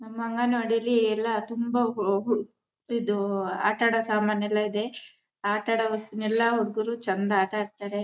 ನಮ್ ಅಂಗನವಾಡಿಲಿ ಎಲ್ಲ ತುಂಬಾ ಹೊ ಹೊಡ್ ಇದೂ ಆಟ ಆಡೋ ಸಾಮಾನು ಎಲ್ಲ ಇದೆ ಆಟ ಆಡು ವಸ್ತು ನ ಎಲ್ಲ ಹುಡಕುದ್ರು ಚಂದ ಆಟ ಆಡ್ತಾರೆ.